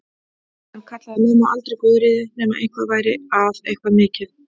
Hann kallaði mömmu aldrei Guðríði nema eitthvað væri að, eitthvað mikið.